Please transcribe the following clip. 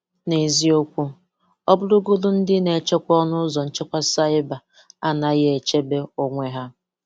N’eziokwu, ọ̀bụ̀rọ̀gòdù ndị na-echekwa ọnụ ụzọ nchekwa saịbà anaghị echebe onwe ha.